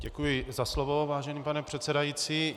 Děkuji za slovo, vážený pane předsedající.